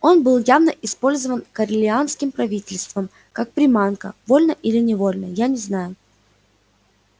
он был явно использован корелианским правительством как приманка вольно или невольно я не знаю